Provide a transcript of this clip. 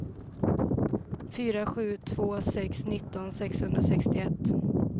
fyra sju två sex nitton sexhundrasextioett